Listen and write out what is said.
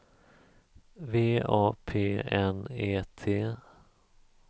V A P N E T